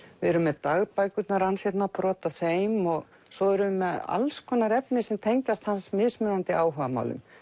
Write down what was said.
erum með dagbækurnar hans hérna brot af þeim og svo erum við með alls konar efni sem tengist hans mismunandi áhugamálum